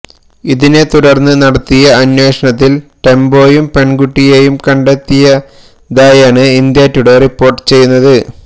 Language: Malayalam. ഇതിനെ തുടര്ന്ന് നടത്തിയ അന്വേഷണത്തില് ടെംപോയും പെണ്കുട്ടിയേയും കണ്ടെത്തിയതായാണ് ഇന്ത്യ ടുഡേ റിപ്പോര്ട്ട് ചെയ്യുന്നത്